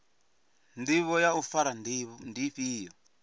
ndivho ya u fara ndi ifhio